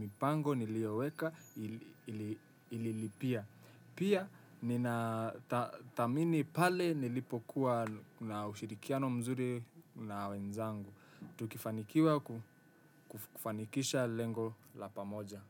mipango nilioweka ililipia. Pia ninathamini pale nilipokua na ushirikiano mzuri na wenzangu. Tukifanikiwa kufanikisha lengo la pamoja.